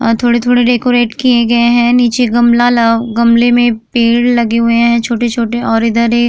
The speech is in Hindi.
अ थोड़े-थोड़े डेकोरेट किए गए है। नीचे गमला ल गमले में पेड़ लगे हुए हैं छोटे-छोटे और इधर एक --